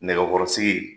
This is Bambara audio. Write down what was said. Nɛgɛkɔrɔsigi